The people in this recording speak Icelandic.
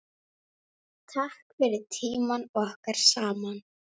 Takk fyrir tímann okkar saman.